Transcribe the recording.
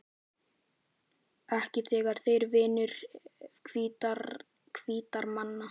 Ekki þegar þeir eru vinir hvítra manna.